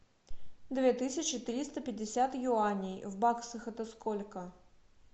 две тысячи триста пятьдесят юаней в баксах это сколько